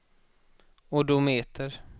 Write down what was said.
odometer